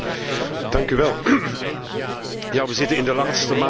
Ja, we zitten in de laatste maanden voor de Europese verkiezingen.